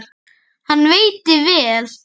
Hann veitti vel